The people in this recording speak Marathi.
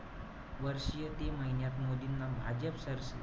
वर्षीय ते महिन्यात मोदींना भाजप,